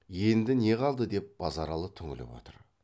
енді не қалды деп базаралы түңіліп отыр